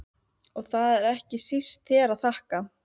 Og það er ekki síst þér að þakka